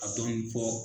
A dɔɔni fɔ